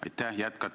Aitäh!